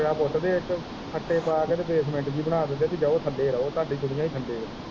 ਟੋਆ ਪੁੱਟਦੇ ਇੱਕ ਖੱਤੇ ਪਾ ਕੇ ਤੇ ਬੈਸਮੈਂਟ ਜੇਹੀ ਬਣਾ ਦਿੰਦੇ ਐ ਪੀ ਜਾਓ ਥੱਲੇ ਰਹੋ ਤੁਹਾਡੀ ਦੁਨੀਆਂ ਹੀ ਥੱਲੇ ਐ।